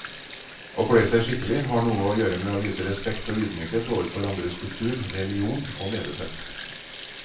Å kle seg skikkelig har noe å gjøre med å vise respekt og ydmykhet overfor andres kultur, religion og levesett.